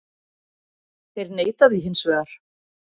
Þeir neita því hins vegar